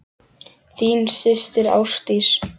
Þín systir, Ásdís.